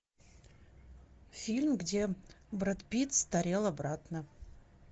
фильм где брэд питт старел обратно